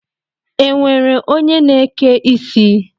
Enwere onye I na-eke ike isi?